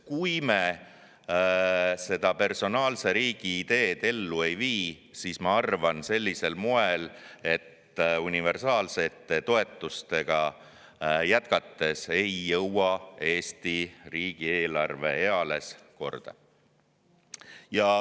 Kui me personaalse riigi ideed ellu ei vii, siis ma arvan, et sellisel moel universaalsete toetustega jätkates ei saa Eesti riigi eelarve eales korda.